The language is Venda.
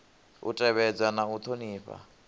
u tevhedza na u thonifha